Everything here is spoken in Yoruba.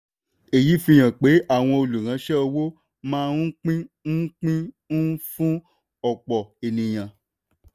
èyí fi hàn pé àwọn olùránṣẹ́ owó máa ń pín un pín un fún òpò ènìyàn.